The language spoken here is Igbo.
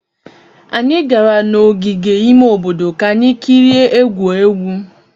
Anyị gara n'ogige ime obodo ka anyị kirie egwu egwu.